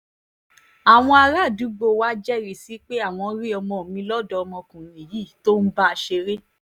àwọn àràádúgbò wàá jẹ́rìí sí i pé àwọn rí ọmọ mi lọ́dọ̀ ọmọkùnrin yìí tó ń bá a ṣeré